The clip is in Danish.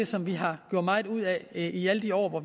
som vi har gjort meget ud af i alle de år hvor